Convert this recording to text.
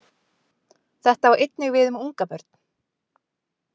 Þetta á einnig við um ungabörn.